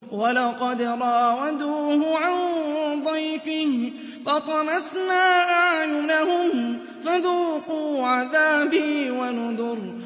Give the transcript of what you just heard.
وَلَقَدْ رَاوَدُوهُ عَن ضَيْفِهِ فَطَمَسْنَا أَعْيُنَهُمْ فَذُوقُوا عَذَابِي وَنُذُرِ